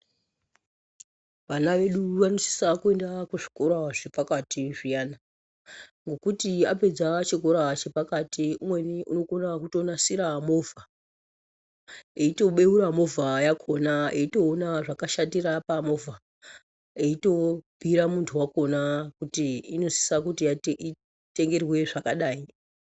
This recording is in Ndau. Vana vedu vanosisa kuenda kuzvikora zvepakati zviyani ngokuti apedza chikora chepakati umweni unokona kutonasira movha eitobeura movha yakhona eitoona zvakashatira pamovha eitobhuira muntu wakhona kuti inosisa kuti itengerwe zvakadai.